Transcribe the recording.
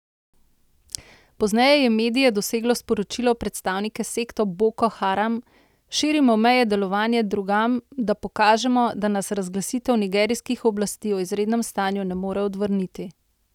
Pozneje je medije doseglo sporočilo predstavnika sekte Boko Haram: 'Širimo meje delovanja drugam, da pokažemo, da nas razglasitev nigerijskih oblasti o izrednem stanju ne more odvrniti.